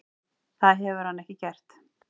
Það hefur hann ekki gert.